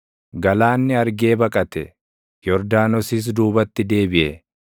Galaanni argee baqate; Yordaanosis duubatti deebiʼe;